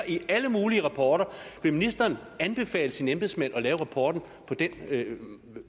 i alle mulige rapporter vil ministeren anbefale sine embedsmænd at lave rapporten